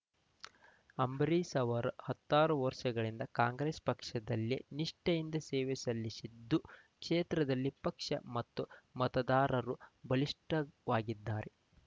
ಅಂಬರೀಷ್‌ ಅವರು ಹತ್ತಾರು ವರ್ಷಗಳಿಂದ ಕಾಂಗ್ರೆಸ್‌ ಪಕ್ಷದಲ್ಲಿ ನಿಷ್ಠೆಯಿಂದ ಸೇವೆ ಸಲ್ಲಿಸಿದ್ದು ಕ್ಷೇತ್ರದಲ್ಲಿ ಪಕ್ಷ ಮತ್ತು ಮತದಾರರು ಬಲಿಷ್ಠವಾಗಿದ್ದಾರೆ